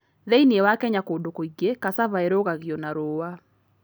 Thĩinĩ wa Kenya kũndũ kũingĩ, cassava ĩrugagio na rũũa.